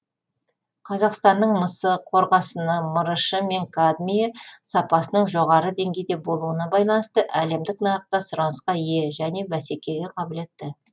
қазақстанның мысы қорғасыны мырышы және кадмийі сапасының жоғары деңгейде болуына байланысты әлемдік нарықта сұранысқа ие және бәсекеге қабілетті